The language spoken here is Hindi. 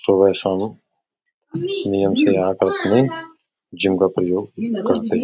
सुबह शाम नियम से रहा करते हैं। जिम का प्रयोग करते हैं।